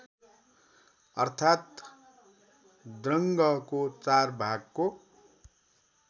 अर्थात द्रङ्गको चारभागको